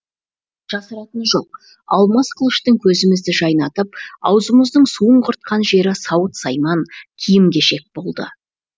жасыратыны жоқ алмас қылыштың көзімізді жайнатып аузымыздың суын құртқан жері сауыт сайман киім кешек болды